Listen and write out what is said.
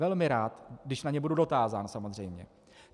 Velmi rád, když na ně budu dotázán, samozřejmě.